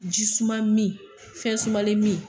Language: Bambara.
Ji suman min fɛn sumalen min.